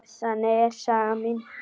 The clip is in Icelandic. Þannig er saga mín.